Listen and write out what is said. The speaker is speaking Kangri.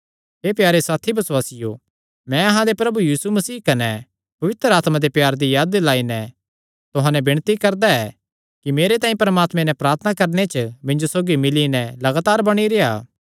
हे प्यारे साथी बसुआसियो मैं अहां दे प्रभु यीशु मसीह कने पवित्र आत्मा दे प्यार दी याद दिलाई नैं तुहां नैं विणती करदा ऐ कि मेरे तांई परमात्मे नैं प्रार्थना करणे च मिन्जो सौगी मिल्ली नैं लगातार बणी रेह्आ